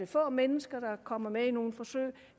få mennesker der kommer med i nogle forsøg